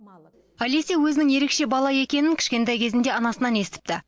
алеся өзінің ерекше бала екенін кішкентай кезінде анасынан естіпті